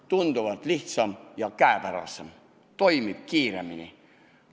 Tunduvalt lihtsam ja käepärasem, toimib ka kiiremini.